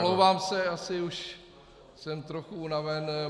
Omlouvám se, asi už jsem trochu unaven.